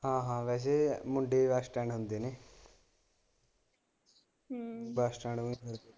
ਹਾ ਹਾ ਵੈਸੇ ਮੁੰਡੇ ਬੱਸ ਸਟੈਂਡ ਹੁੰਦੇ ਨੇ ਹਮ ਬੱਸ ਸਟੈਂਡ।